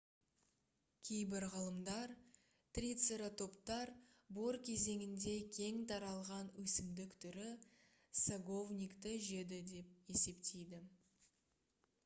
кейбір ғалымдар трицератоптар бор кезеңінде кең таралған өсімдік түрі саговникті жеді деп есептейді